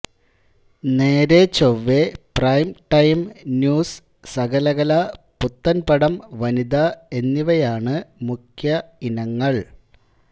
നേരെ ചൊവ്വേ prime time news Sakalakala പുത്തൻ പടം വനിത എന്നിവയാണ് മുഖ്യ ഇനങ്ങൾ